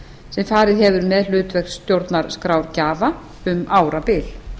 sem farið hefur með hlutverk stjórnarskrárgjafa um árabil